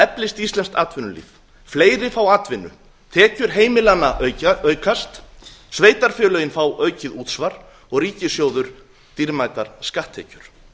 eflist íslenskt atvinnulíf fleiri fá atvinnu tekjur heimilanna aukast sveitarfélögin fá aukið útsvar og ríkissjóður dýrmætar skatttekjur